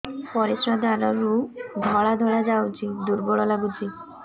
ପରିଶ୍ରା ଦ୍ୱାର ରୁ ଧଳା ଧଳା ଯାଉଚି ଦୁର୍ବଳ ଲାଗୁଚି